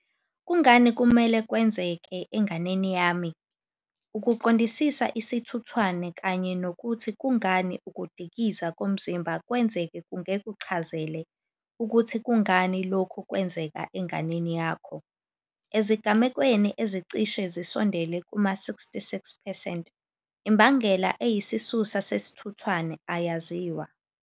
Kungani kumele kwenzeke enganeni yami? Ukuqondisisa isithuthwane kanye nokuthi kungani ukudlikiza komzimba kwenzeka kungekuchazele ukuthi kungani lokhu kwenzeka enganeni yakho. Ezigamekweni ezicishe zisondele kuma-66 percent, imbangela eyisisusa sesithuthwane ayaziwa.